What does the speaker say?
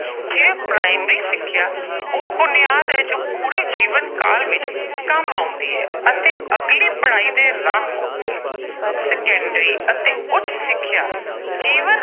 ਜਿਵੇਂ ਪ੍ਰਾਇਮਰੀ ਸਿੱਖਿਆ ਉਹ ਬੁਨਿਆਦ ਹੈ, ਜੋ ਪੂਰੇ ਜੀਵਨ ਕਾਲ ਦੇ ਵਿੱਚ ਕੰਮ ਆਉਂਦੀ ਹੈ ਅਤੇ ਅਗਲੀ ਪੜ੍ਹਾਈ ਦੇ ਰਾਹ ਖੋਲ੍ਹਦੀ ਹੈ। ਸੈਕੰਡਰੀ ਅਤੇ ਉੱਚ ਸਿੱਖਿਆ ਜੀਵਨ